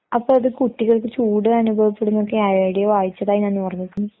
അപ്പൊ, അത് കുട്ടികൾക്ക് ചൂട് അനുഭവപ്പെടുമെന്നൊക്കെ ഏവിടെയോ വായിച്ചതായി ഞാൻ ഓർമ്മിക്കുന്നു.